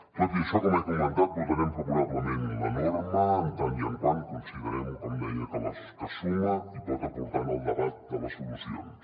tot i això com he comentat votarem favorablement la norma en tant que considerem com deia que suma i pot aportar en el debat de les solucions